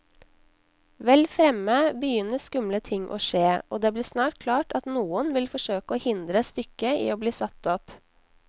Vel fremme begynner skumle ting å skje, og det blir snart klart at noen vil forsøke å hindre stykket i bli satt opp.